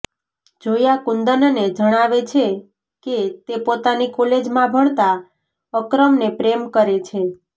જોયા કુંદનને જણાવે છે કે તે પોતાની કોલેજમાં ભણતા અકરમને પ્રેમ કરે છે